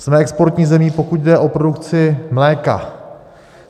Jsme exportní zemí, pokud jde o produkci mléka.